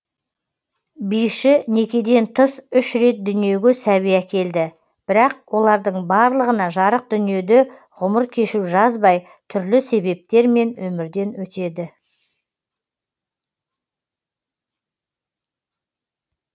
биші некеден тыс үш рет дүниеге сәби әкелді бірақ олардың барлығына жарық дүниеде ғұмыр кешу жазбай түрлі себептермен өмірден өтеді